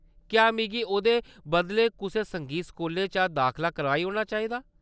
क्या‌ मिगी ओह्‌‌‌दे बदलै कुसै संगीत स्कूलै च दाखला कराई ओड़ना चाहिदा?